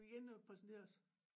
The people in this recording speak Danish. Vi kan ikke nå at præsentere os